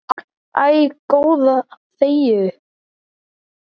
Æ, góða þegiðu.